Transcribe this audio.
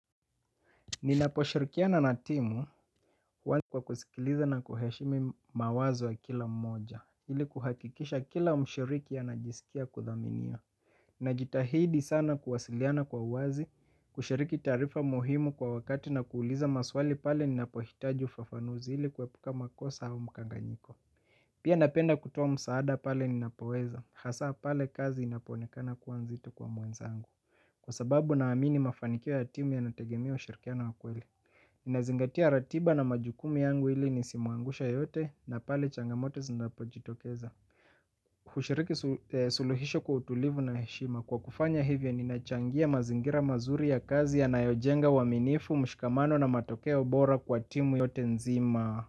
Ninaposhirikiana na timu kwa kusikiliza na kuheshimu mawazo wa kila mmoja ili kuhakikisha kila mshiriki anajisikia kudhaminia. Najitahidi sana kuwasiliana kwa uwazi kushiriki taarifa muhimu kwa wakati na kuuliza maswali pale ninapohitaji ufafanuzi ili kuepuka makosa au mkanganyiko. Pia napenda kutoa msaada pale ninapoweza hasa pale kazi inapoonekana kuwa nzito kwa mwenzangu. Kwa sababu naamini mafanikio ya timu yanategemea ushirikiano wa kweli. Ninazingatia ratiba na majukumu yangu ili nisimuangushe yoyote na pale changamoto zinapojitokeza hushiriki suluhisho kwa utulivu na heshima. Kwa kufanya hivyo ninachangia mazingira mazuri ya kazi yanayojenga uaminifu, mshikamano na matokeo bora kwa timu yote nzima.